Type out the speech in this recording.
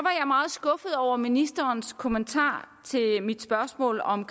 meget skuffet over ministerens kommentar til mit spørgsmål om